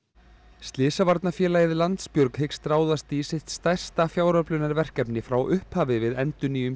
slysavarnarfélagið Landsbjörg hyggst ráðast í sitt stærsta fjáröflunarverkefni frá upphafi við endurnýjun